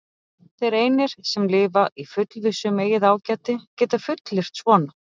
Þeir einir, sem lifa í fullvissu um eigið ágæti, geta fullyrt svona.